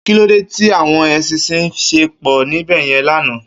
Kilódé ti áwòn éṣìnṣìn ṣé pò níbèyèn làná?